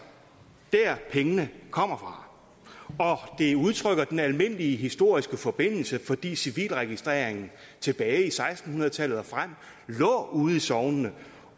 der pengene kommer fra og det udtrykker den almindelige historiske forbindelse fordi civilregistreringen tilbage fra seksten hundrede tallet og frem lå ude i sognene